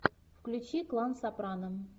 включи клан сопрано